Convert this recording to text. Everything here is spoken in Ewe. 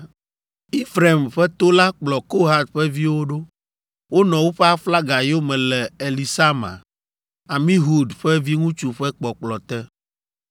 Efraim ƒe to la kplɔ Kohat ƒe viwo ɖo. Wonɔ woƒe aflaga yome le Elisama, Amihud ƒe viŋutsu ƒe kpɔkplɔ te.